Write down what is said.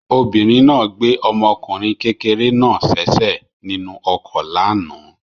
Obìnrin náà gbé ọmọkùnrin kékeré náà sẹ́sẹ̀ nínú ọkọ̀ lánàá.